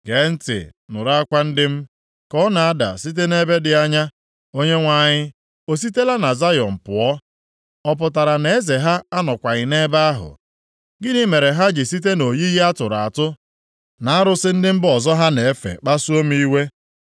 Gee ntị nụrụ akwa ndị m ka ọ na-ada site nʼebe dị anya. “Onyenwe anyị, ọ sitela na Zayọn pụọ? Ọ pụtara na Eze ha anọkwaghị nʼebe ahụ?” “Gịnị mere ha ji site nʼoyiyi a tụrụ atụ, na arụsị ndị mba ọzọ ha na-efe kpasuo m iwe?”